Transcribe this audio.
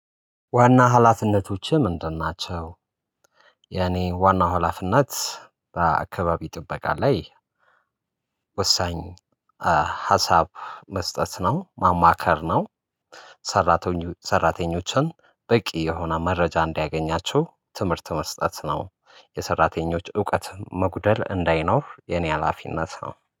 ዋና ኃላፊነቶችህ ምንድን ናቸው? የኔ ዋና ሀላፊነት በአካባቢ ጥበቃ ላይ ወሳኝ ሀሳብ መስጠት ነው ማማከር ነው። ሰራተኞችን በቂ የሆነ መረጃ እንዳያገኛቸው ትምህርት መስጠት ነው። የሠራተኞች እውቀት መጉደል እንዳይኖር የኔ ሀላፊነት ነው